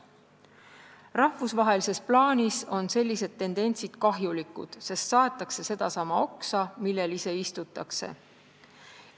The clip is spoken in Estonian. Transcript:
Rahvusvahelises plaanis on sellised tendentsid kahjulikud, sest saetakse sedasama oksa, millel ise istutakse.